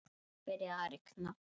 Svo byrjaði að rigna.